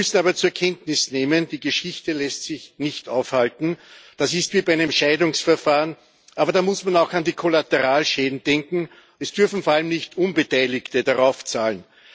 Wir müssen aber zur Kenntnis nehmen Die Geschichte lässt sich nicht aufhalten. Das ist wie bei einem Scheidungsverfahren, aber da muss man auch an die Kollateralschäden denken. Es dürfen vor allem nicht Unbeteiligte draufzahlen.